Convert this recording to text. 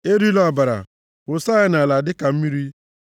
Erila ọbara, wụsa ya nʼala dịka mmiri.